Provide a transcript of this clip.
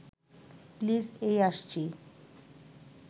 please এই আসছি